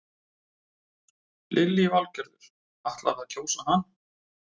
Lillý Valgerður: Ætlarðu að kjósa hann?